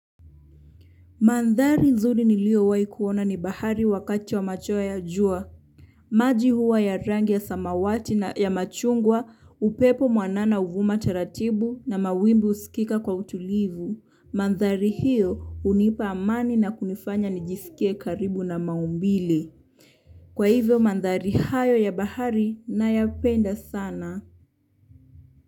Mandhari nzuri niliowahi kuona ni bahari wakati wa machweo ya jua. Maji huwa ya rangi ya samawati na ya machungwa, upepo mwanana huvuma taratibu na mawimbi husikika kwa utulivu. Mandhari hiyo hunipa amani na kunifanya nijiskie karibu na maumbile kwa hivyo mandhari hayo ya bahari nayapenda sana.